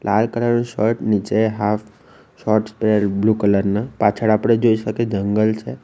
લાલ colour નું shirt નીચે half shorts પહેરેલ બ્લુ કલર ના પાછળ આપણે જોઈ શકે જંગલ છે.